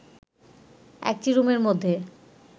একটি রুমের মধ্যে